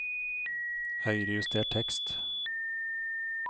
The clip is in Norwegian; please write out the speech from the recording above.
Høyrejuster tekst